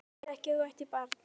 Ég vissi ekki að þú ættir barn?